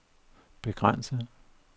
begrænse